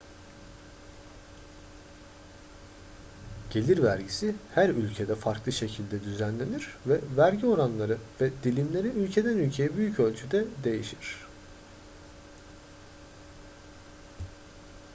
gelir vergisi her ülkede farklı şekilde düzenlenir ve vergi oranları ve dilimleri ülkeden ülkeye büyük ölçüde değişir